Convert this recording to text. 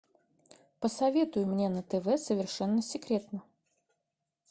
посоветуй мне на тв совершенно секретно